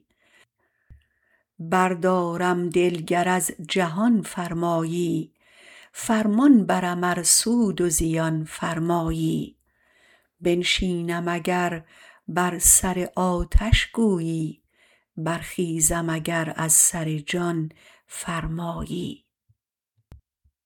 بردارم دل گر از جهان فرمایی فرمان برم ار سود و زیان فرمایی بنشینم اگر بر سر آتش گویی برخیزم اگر از سر جان فرمایی